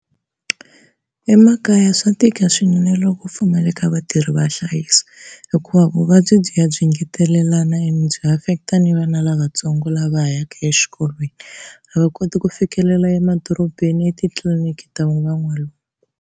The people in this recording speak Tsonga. Emakaya swa tika swinene loko ku pfumaleka vatirhi va hlayiso, hikuva vuvabyi byi ya byi ngetelelana ene byi affect-a ni vana lavatsongo lava yaka exikolweni, a va koti ku fikelela emadorobeni etitliliniki ta van'walungu.